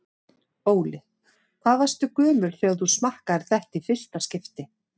Óli: Hvað varstu gömul þegar þú smakkaðir þetta í fyrsta skipti?